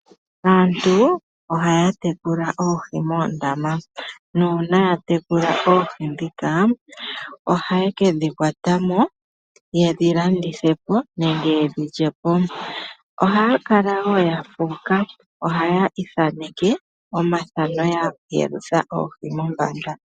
Aantu ohaya tekula oohi moondama, nuuna ya tekula oohi dhika ohaye kedhi kwata mo yedhi landithepo nenge yedhi lyepo, ohaya kala wo ya fuuka ohaye ithaneke omafano ya yelutha oohi mombanda.